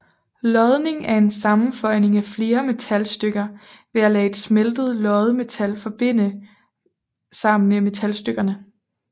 Lodning er en sammenføjning af flere metalstykker ved at lade et smeltet loddemetal forbinde sig med metalstykkerne